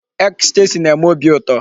Ecstasy na-eme óbị ụtọ.